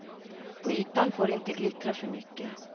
På ytan får det inte glittra för mycket.